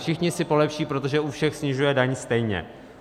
Všichni si polepší, protože u všech snižuje daň stejně.